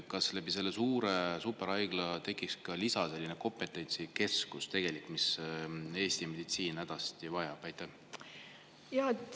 Ja kas selle suure superhaigla kujul tekiks selline lisakompetentsikeskus, mida Eesti meditsiin hädasti vajab?